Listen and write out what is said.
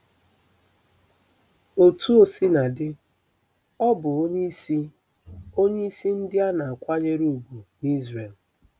Otú o sina dị, ọ bụ onyeisi onyeisi ndị a na-akwanyere ùgwù n'Izrel.